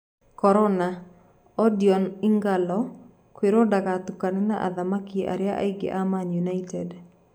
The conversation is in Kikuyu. Korona:Odion Ighalo kũirwo ndagatukane na athaki arĩa angĩ a Man United.